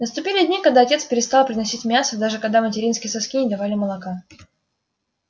наступили дни когда отец перестал приносить мясо даже когда материнские соски не давали молока